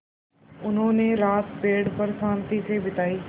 उन्होंने रात पेड़ पर शान्ति से बिताई